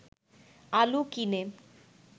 আলু কিনে